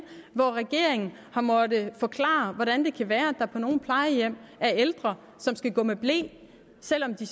hvor regeringen har måttet forklare hvordan det kan være at der på nogle plejehjem er ældre som skal gå med ble selv om de